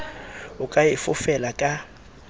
o ka e fofela ka